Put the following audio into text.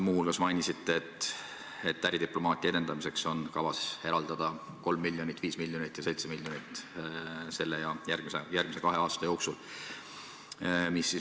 Muu hulgas mainisite, et äridiplomaatia edendamiseks on kavas eraldada tänavu 3 miljonit ning 5 miljonit ja 7 miljonit järgmise kahe aasta jooksul.